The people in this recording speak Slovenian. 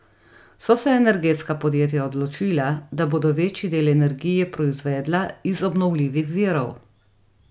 So se energetska podjetja odločila, da bodo večji del energije proizvedla iz obnovljivih virov?